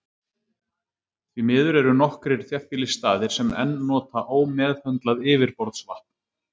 Því miður eru nokkrir þéttbýlisstaðir sem enn nota ómeðhöndlað yfirborðsvatn.